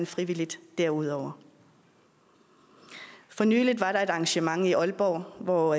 frivilligt derudover for nylig var der et arrangement i aalborg hvor